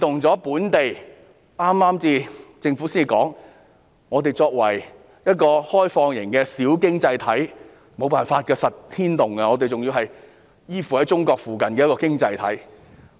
政府早前表示，香港作為一個開放型小經濟體，無法不被牽動，我們仍然是一個依附在中國附近的經濟體。